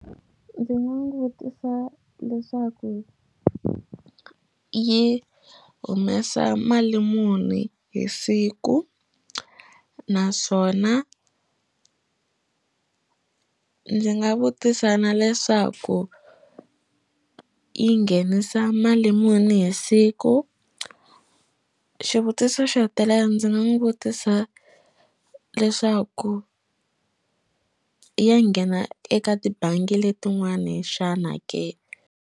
Ndzi nga n'wi vutisa leswaku yi humesa mali muni hi siku naswona ndzi nga vutisa na leswaku yi nghenisa mali muni hi siku xivutiso xo hetelela ndzi nga n'wi vutisa leswaku ya nghena eka tibangi letin'wani xana ke.